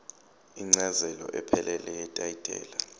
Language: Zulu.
incazelo ephelele yetayitela